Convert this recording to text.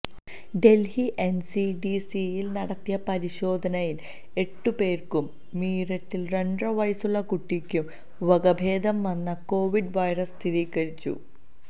ഡല്ഹി എന്സിഡിസിയില് നടത്തിയ പരിശോധനയില് എട്ടു പേര്ക്കും മീററ്റില് രണ്ടര വയസുള്ള കുട്ടിക്കും വകഭേദം വന്ന കൊവിഡ് വൈറസ് സ്ഥിരീകരിച്ചു